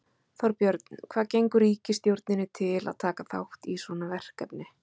Þorbjörn, hvað gengur ríkisstjórninni til að taka þátt í svona verkefni?